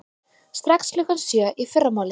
Strax klukkan sjö í fyrramálið.